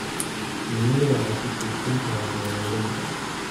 Shinnidu waxay ku tiirsan tahay beeralayda.